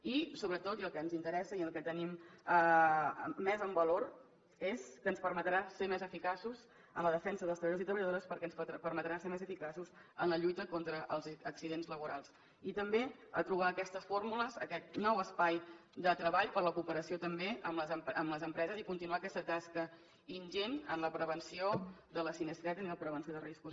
i sobretot i el que ens interessa i el que tenim més en valor és que ens permetrà ser més eficaços en la defensa dels treballadors i treballadores perquè ens permetrà ser més eficaços en la lluita contra els accidents laborals i també a trobar aquestes fórmules aquest nou espai de treball per a la cooperació també amb les empreses i continuar aquesta tasca ingent en la prevenció de la sinistralitat i en la prevenció de riscos